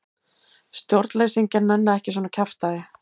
Stjórnleysingjar nenna ekki svona kjaftæði.